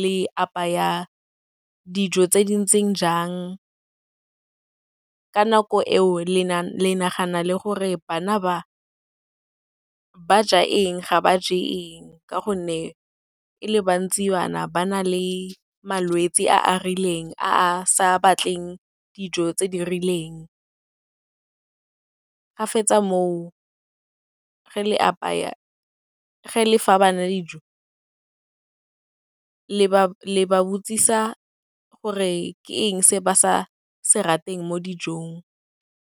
le apaya dijo tse dintseng jang, ka nako eo le nagana gore bana ba, ba ja eng, ga ba je eng ka gonne e le bantsi bana, ba na le malwetse a a rileng, a a sa batleng dijo tse di rileng. Ga fetsa mo, ge le apaya, ge le fa bana dijo, le ba botšiša gore ke eng se ba sa se rateng mo dijong.